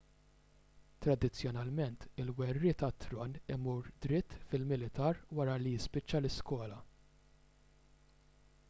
tradizzjonalment il-werriet għat-tron imur dritt fil-militar wara li jispiċċa l-iskola